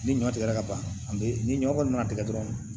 Ni ɲɔ tigɛra ka ban ni ɲɔ kɔni nana tigɛ dɔrɔn